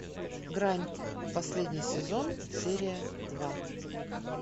грань последний сезон серия два